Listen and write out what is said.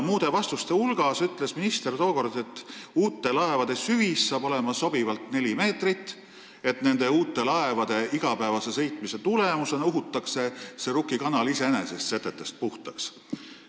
Muude vastuste hulgas ütles minister tookord, et uute laevade süvis tuleb sobivalt neli meetrit ja igapäevase sõitmise tulemusena uhutakse Rukki kanal iseenesest setetest puhtaks.